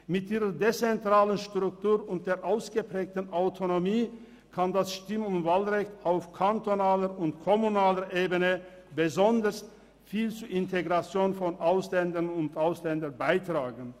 Mit ihrer dezentralen Struktur und der ausgeprägten Autonomie kann das Stimm- und Wahlrecht auf kantonaler und kommunaler Ebene besonders viel zur Integration von Ausländerinnen und Ausländern beitragen.